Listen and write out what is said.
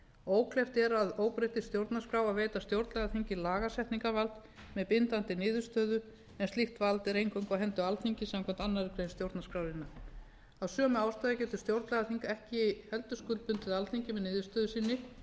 ókleift er að óbreyttri stjórnarskrá að veita stjórnlagaþingi lagasetningarvald með bindandi niðurstöðu en slíkt vald er eingöngu á hendi alþingis samkvæmt annarri grein stjórnarskrárinnar af sömu ástæðu getur stjórnlagaþing ekki heldur skuldbundið alþingi með niðurstöðu sinni